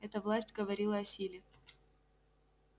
эта власть говорила о силе